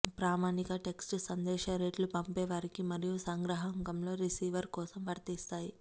ప్రామాణిక టెక్స్ట్ సందేశ రేట్లు పంపేవారికి మరియు సంగ్రాహకంలో రిసీవర్ కోసం వర్తిస్తాయి